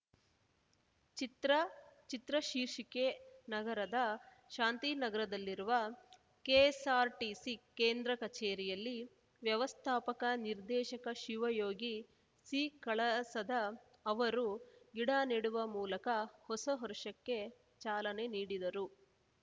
ಚಿತ್ರ ಚಿತ್ರ ಶೀರ್ಷಿಕೆ ನಗರದ ಶಾಂತಿನಗರದಲ್ಲಿರುವ ಕೆಎಸ್ಸಾರ್ಟಿಸಿ ಕೇಂದ್ರ ಕಚೇರಿಯಲ್ಲಿ ವ್ಯವಸ್ಥಾಪಕ ನಿರ್ದೇಶಕ ಶಿವಯೋಗಿ ಸಿಕಳಸದ ಅವರು ಗಿಡ ನೆಡುವ ಮೂಲಕ ಹೊಸ ವರ್ಷಕ್ಕೆ ಚಾಲನೆ ನೀಡಿದರು